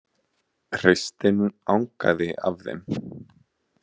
Hreystin angaði af þeim.